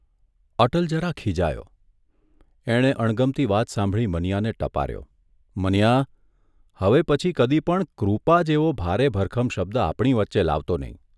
અટલ જરા ખિજાયો એણે અણગમતી વાત સાંભળી મનીયાને ટપાર્યો મનીયા, હવે પછી કદી પણ ' કૃપા ' જેવો ભારે ભરખમ શબ્દ આપણી વચ્ચે લાવતો નહીં.